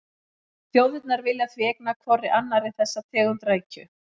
Þjóðirnar vilja því eigna hvorri annarri þessa tegund rækju.